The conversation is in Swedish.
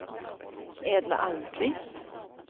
Edla Almqvist